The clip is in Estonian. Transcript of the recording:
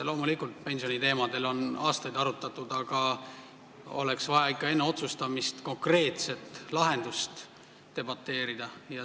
Loomulikult, pensioniteemasid on aastaid arutatud, aga oleks vaja ikka enne otsustamist konkreetse lahenduse üle debateerida.